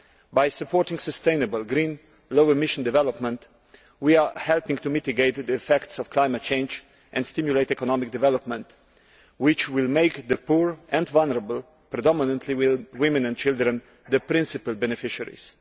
By supporting sustainable, green, low emission development, we are helping to mitigate the effects of climate change and to stimulate economic development, which will make the poor and vulnerable predominantly women and children the principal beneficiaries.